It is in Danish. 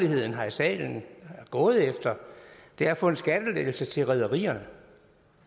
her i salen er gået efter det er at få en skattelettelse til rederierne